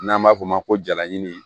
N'an b'a f'o ma ko jalaɲini